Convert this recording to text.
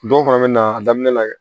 Dɔw fana bɛ na a daminɛ la dɛ